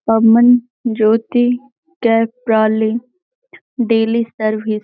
Aman Jyoti daily service --